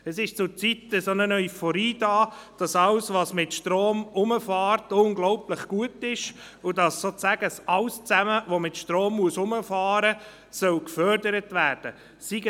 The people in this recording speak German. Es ist zurzeit eine Euphorie da, dass alles, was mit Strom fährt, unglaublich gut ist, und dass sozusagen alles, was mit Strom fährt, gefördert werden soll.